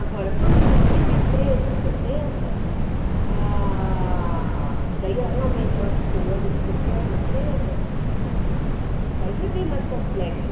Agora, quando a minha mãe foi presa em setenta, ah... que daí realmente ela ficou o ano de setenta presa, daí foi bem mais complexo.